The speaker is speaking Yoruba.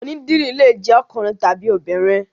Onídìrí lè jẹ́ ọkùnrin tàbí obìnrin.